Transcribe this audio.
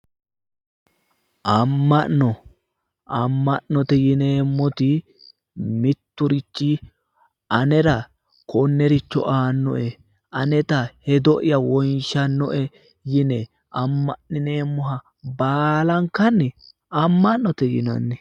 amma'no amma'note yineemmoti mitturichi anara konnericho aannoe aneta hedo'ya wonshannoe yine amma'nineemmoha baalankanni amma'note yinanni.